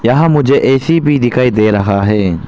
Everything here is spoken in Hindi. यहां मुझे ए_सी भी दिखाई दे रहा है।